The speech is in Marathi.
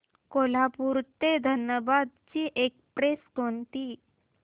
कोल्हापूर ते धनबाद ची एक्स्प्रेस कोणती